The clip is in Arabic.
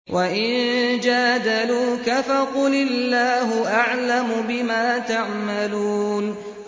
وَإِن جَادَلُوكَ فَقُلِ اللَّهُ أَعْلَمُ بِمَا تَعْمَلُونَ